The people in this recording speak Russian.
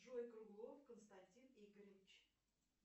джой круглов константин игоревич